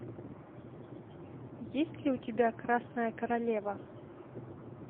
есть ли у тебя красная королева